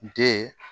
Den